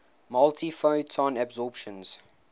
multiple photon absorptions